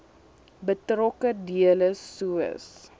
betrokke dele soos